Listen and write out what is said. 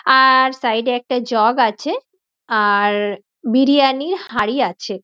আর side -এ একটা jug আছে আর বিরিয়ানি হাঁড়ি আছে।